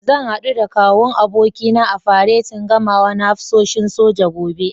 Zan haɗu da Kawun abokina a faretin gamawa na hafsoshin soja, gobe.